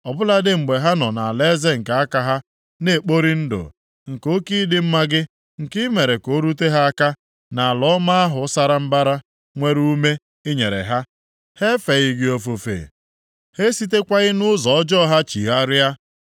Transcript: Ọ bụladị mgbe ha nọ nʼalaeze nke aka ha na-ekpori ndụ, nke oke ịdị mma gị nke ị mere ka o rute ha aka, nʼala ọma ahụ sara mbara nwere ume i nyere ha, ha efeghị gị ofufe, ha esitekwaghị nʼụzọ ọjọọ ha chigharịa.